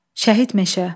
Şəhid meşə.